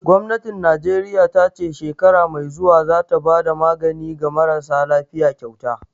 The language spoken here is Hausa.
Gwamnatin Najeriya ta ce shekara mai zuwa za ta bada magani ga marasa lafiya kyauta